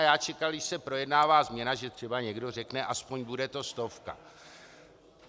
A já čekal, když se projednává změna, že třeba někdo řekne aspoň: Bude to stovka.